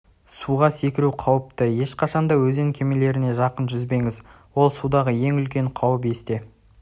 суға секіру қауіпті ешқашан да өзен кемелеріне жақын жүзбеңіз ол судағы ең үлкен қауіп есте